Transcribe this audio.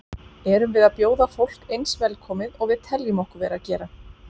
Erum við að bjóða fólk eins velkomið og við teljum okkur vera að gera?